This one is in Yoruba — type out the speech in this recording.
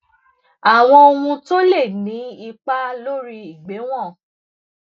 àwọn ohun tó lè ni ipa lori igbewon